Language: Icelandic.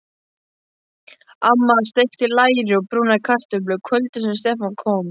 Amma steikti læri og brúnaði kartöflur kvöldið sem Stefán kom.